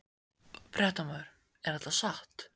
Fréttamaður: Er þetta satt?